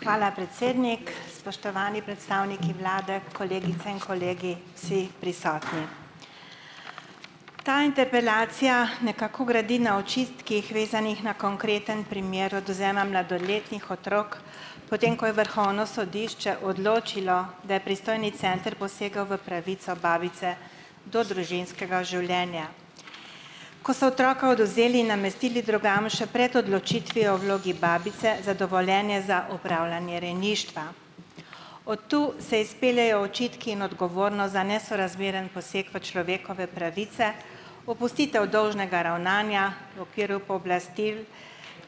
Hvala, predsednik, spoštovani predstavniki vlade, kolegice in kolegi, vsi prisotni . Ta interpelacija nekako gradi na očitkih, vezanih na konkreten primer odvzema mladoletnih otrok, potem ko je Vrhovno sodišče odločilo, da je pristojni center posegal v pravico babice do družinskega življenja. Ko so otroka odvzeli in namestili drugam, še pred odločitvijo o vlogi babice za dovoljenje za opravljanje rejništva . Od tu se izpeljejo očitki in odgovornost za nesorazmeren poseg v človekove pravice, opustitev dolžnega ravnanja v okviru pooblastil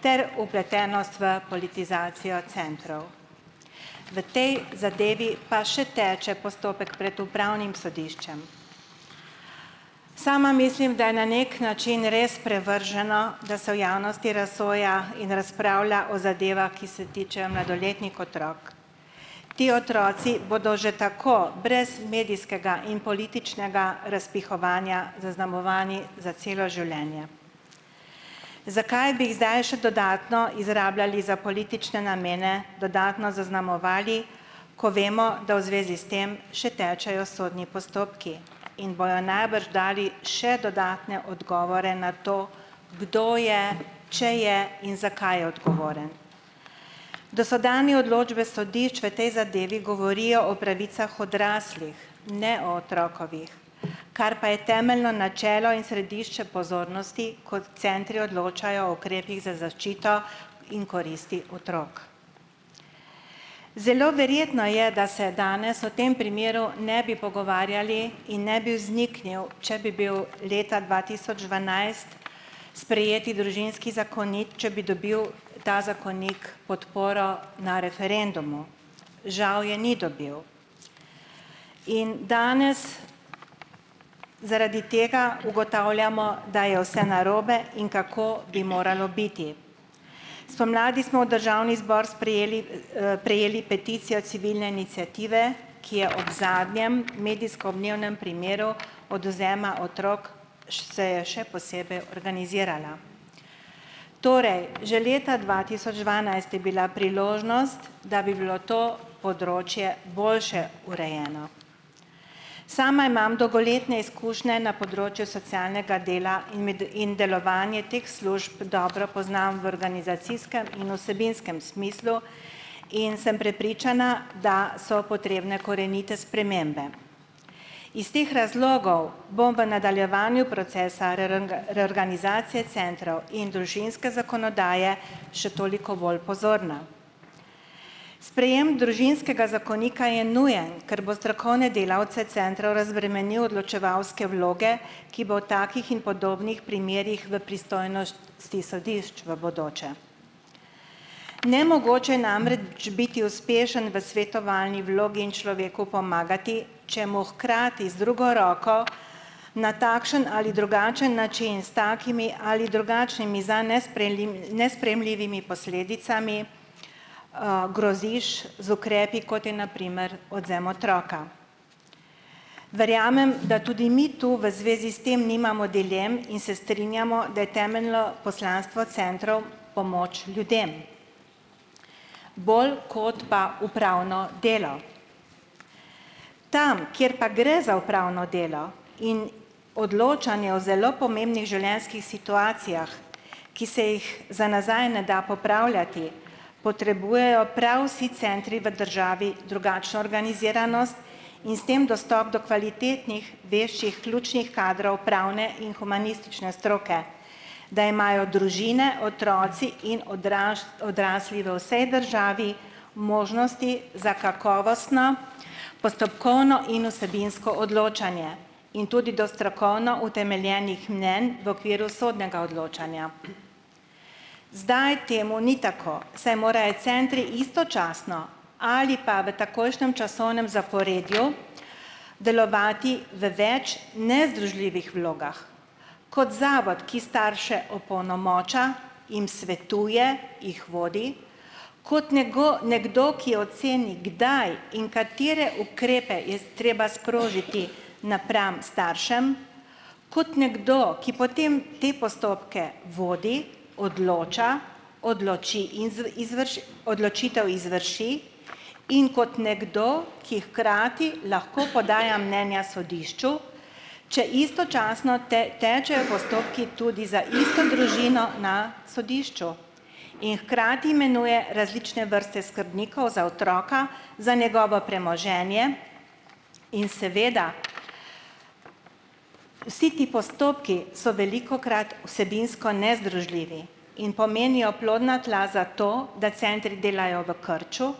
ter vpletenost v politizacijo centrov . V tej zadevi pa še teče postopek pred upravnim sodiščem. Sama mislim, da je na neki način res sprevrženo, da se v javnosti razsoja in razpravlja o zadevah, ki se tičejo mladoletnih otrok. Ti otroci bodo že tako brez medijskega in političnega razpihovanja zaznamovani za celo življenje. Zakaj bi jih zdaj še dodatno izrabljali za politične namene, dodatno zaznamovali, ko vemo, da v zvezi s tem še tečejo sodni postopki, in bojo najbrž dali še dodatne odgovore na to, kdo je, če je in zakaj je odgovoren . Dosedanje odločbe sodišč v tej zadevi govorijo o pravicah odraslih, ne o otrokovih, kar pa je temeljno načelo in središče pozornosti, kot centri odločajo o ukrepih za zaščito in koristi otrok. Zelo verjetno je, da se danes o tem primeru ne bi pogovarjali in ne bi vzniknil, če bi bil leta dva tisoč dvanajst sprejet družinski zakonik, če bi dobil ta zakonik podporo na referendumu. Žal je ni dobil. In danes zaradi tega ugotavljamo, da je vse narobe in kako bi moralo biti. Spomladi smo državni zbor sprijeli prejeli peticijo civilne iniciative, ki je ob zadnjem medijsko odmevnem primeru odvzema otrok, se je še posebej organizirala. Torej, že leta dva tisoč dvanajst je bila priložnost, da bi bilo to področje boljše urejeno. Sama imam dolgoletne izkušnje na področju socialnega dela in delovanje teh služb dobro poznam v organizacijskem in vsebinskem smislu in sem prepričana, da so potrebne korenite spremembe. Iz teh razlogov bom v nadaljevanju procesa reorganizacije centrov in družinske zakonodaje še toliko bolj pozorna. Sprejem družinskega zakonika je nujen, ker bo strokovne delavce centrov razbremenil odločevalske vloge, ki bo o takih in podobnih primerih v ste sodišč v bodoče. Biti uspešen v svetovalni vlogi in človeku pomagati, če mu hkrati z drugo roko na takšen ali drugačen način s takimi ali nesprejemljivimi posledicami, groziš z ukrepi, kote na primer odvzem otroka. Verjamem, da tudi mi tu v zvezi s tem nimamo dilem in se strinjamo, da je temeljno poslanstvo centrov pomoč ljudem bolj kot pa upravno delo. Tam, kjer pa gre za upravno delo in odločanje o zelo pomembnih situacijah, ki se jih za nazaj ne da popravljati, potrebujejo prav vsi centri v državi drugačno organiziranost in s tem dostop do kvalitetnih veščih ključnih kadrov pravne in humanistične stroke, da imajo družine, otroci in odrasli do vsej državi možnosti za kakovostno postopkovno in vsebinsko odločanje in tudi do strokovno utemeljenih mnenj v okviru sodnega odločanja. Zdaj temu ni tako, saj morajo centri istočasno ali pa v takojšnjem časovnem zaporedju delovati v več nezdružljivih vlogah. Kot zavod, ki starše opolnomoča, jim svetuje, jih vodi, kot nekdo, nekdo, ki oceni, kdaj in katere ukrepe je treba sprožiti napram staršem, kot nekdo, ki potem te postopke vodi, odloča, odločitev izvrši, in kot nekdo, ki hkrati lahko podaja mnenja sodišču, če istočasno tečejo postopki tudi za isto družino na sodišču, in hkrati imenuje različne vrste skrbnikov za otroka, za njegovo premoženje, in seveda vsi ti postopki so velikokrat vsebinsko nezdružljivi in pomenijo plodna tla za to, da centri delajo v krču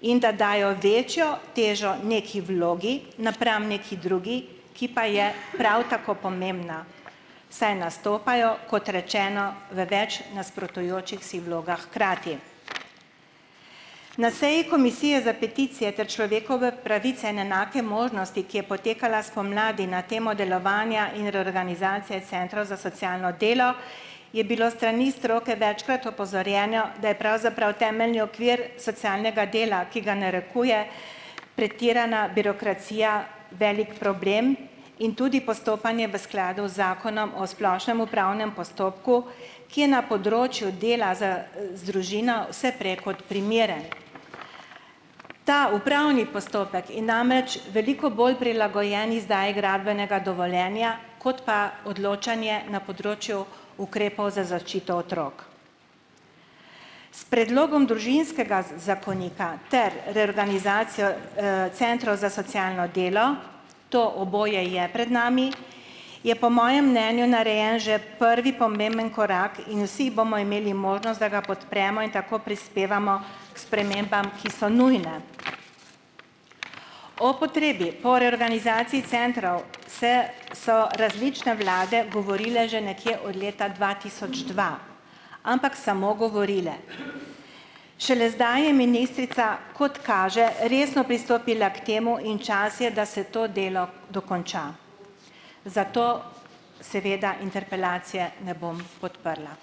in da dajo večjo težo neki vlogi napram neki drugi, ki pa je prav tako pomembna , saj nastopajo, kot rečeno, v več nasprotujočih si vlogah hkrati. Na seji Komisije za peticije ter pravice in enake možnosti, ki je potekala spomladi na temo delovanja in reorganizacije centrov za socialno delo, je bilo strani stroke večkrat, da je pravzaprav temeljni okvir socialnega dela, ki ga narekuje pretirana birokracija, velik problem in tudi postopanje v skladu zakonom o splošnem upravnem postopku, ki je na področju dela za, za družine vse prej kot primeren. Ta upravni postopek veliko bolj prilagojen izdaji gradbenega dovoljenja kot pa odločanju na področju ukrepov za zaščito otrok. S predlogom družinskega zakonika ter reorganizacijo, centrov za socialno delo, to oboje je pred nami, je po mojem mnenju narejen že prvi pomemben korak in vsi bomo imeli, ga podpremo in tako prispevamo k spremembam, ki so nujne . O potrebi po reorganizaciji centrov se so različne vlade govorile že nekje od leta dva tisoč dva . Ampak samo govorile. Šele zdaj je ministrica, kot kaže, resno pristopila k temu in čas je, da se to delo dokonča. Zato seveda interpelacije ne bom podprla.